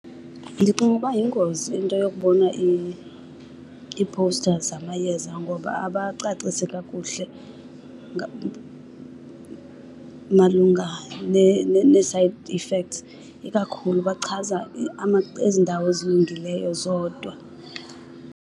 Ndicinga uba yingozi into yokubona ii-posters zamayeza ngoba abacacisi kakuhle malunga nee-side effects. Ikakhulu bachaza ezi ndawo zilungileyo zodwa.